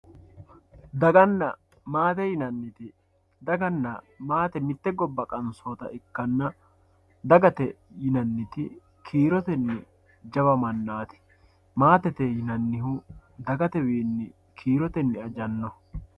Dagana maate dagana maate yinaniti mitte gobba qansota ikana dagate yinanit kiiroteni jawa manati maate yinanihu dagatewiini kiiroteni ajanoho.